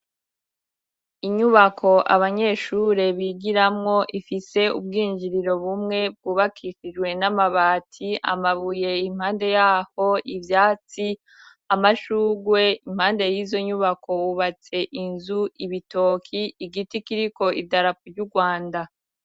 Inyubako abanyeshure bigiramwo ifise ubwinjiriro bumwe bwubakishijwe n'amabati amabuye impande yaho ivyatsi amashugwe impande yizo nyubako hubatse inzu ibitoki, igiti kiriko idarapo ryu Rwanda.